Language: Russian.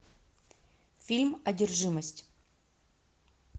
фильм одержимость